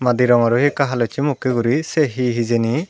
madi rongor ei ekka halossey mokkey guri sey hi hijeni.